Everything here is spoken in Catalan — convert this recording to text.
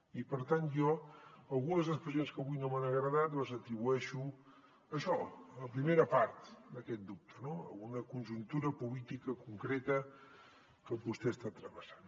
i per tant jo algunes expressions que avui no m’han agradat les atribueixo a això a la primera part d’aquest dubte no a una conjuntura política concreta que vostè està travessant